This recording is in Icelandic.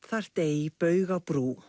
þarft ei